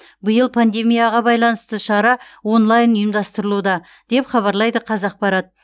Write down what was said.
биыл пандемияға байланысты шара онлайн ұйымдастырылуда деп хабарлайды қазақпарат